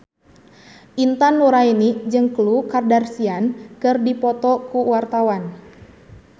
Intan Nuraini jeung Khloe Kardashian keur dipoto ku wartawan